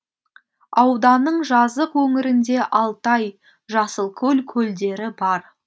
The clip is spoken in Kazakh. ауданның жазық өңірінде алтай жасылкөл көлдері бар